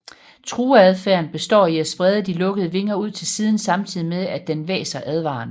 Trueadfærden består i at sprede de lukkede vinger ud til siden samtidigt med at den hvæser advarende